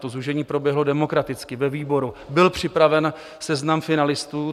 To zúžení proběhlo demokraticky ve výboru, byl připraven seznam finalistů.